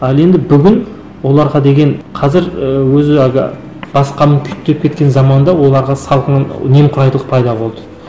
ал енді бүгін оларға деген қазір ыыы өзі әлгі басқаны күйіттеп кеткен заманда оларға салқын немқұрайлық пайда болды